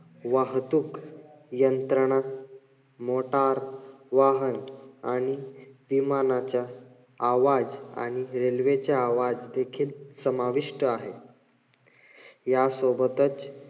वाहतूक यंत्रणा, मोटार वाहन आणि विमानाच्या आवाज आणि railway चा आवाज देखील समाविष्ट आहे. या सोबतच,